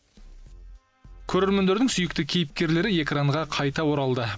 көрермендердің сүйікті кейіпкерлері экранға қайта оралды